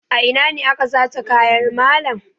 A ina ne aka sace kayan malam?